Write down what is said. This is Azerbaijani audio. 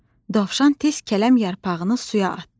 Dovşan tez kələm yarpağını suya atdı.